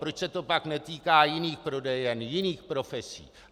Proč se to pak netýká jiných prodejen, jiných profesí?